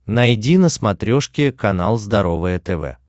найди на смотрешке канал здоровое тв